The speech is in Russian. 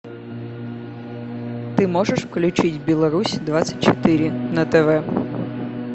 ты можешь включить беларусь двадцать четыре на тв